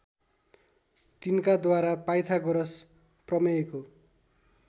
तिनकाद्वारा Pythagoras प्रमेयको